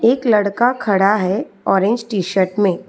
एक लड़का खड़ा है ऑरेंज टी_शर्ट में।